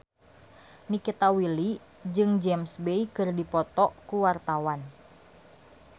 Nikita Willy jeung James Bay keur dipoto ku wartawan